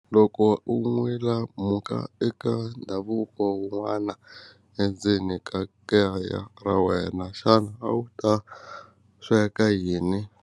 Loko u n'wilamhuka eka ndhavuko wun'wana endzeni ka kaya ra wena xana a wu ta sweka yini.